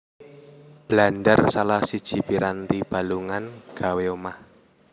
Blandar salah siji piranti balungan gawé omah